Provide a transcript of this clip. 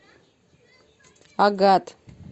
агат